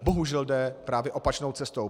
Bohužel jde právě opačnou cestou.